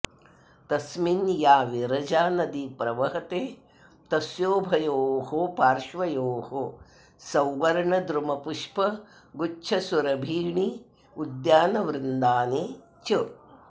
तस्मिन् या विरजा नदी प्रवहते तस्योभयोः पार्श्वयोः सौवर्णद्रुमपुष्पगुच्छसुरभीण्युद्यानबृन्दानि च